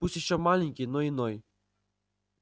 пусть ещё маленький но иной